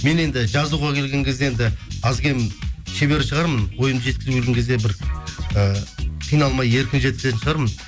мен енді жазуға келген кезде енді аз кем шебер шығармын ойымды жеткізуге келген кезде бір ы қиналмай еркін жеткізетін шығармын